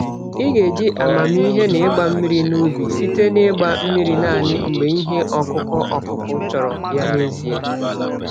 Ị geji amamihe n'ịgba mmiri n'ubi, site na ịgba mmiri naanị mgbe ihe ọkụkụ ọkụkụ chọrọ ya n'ezie.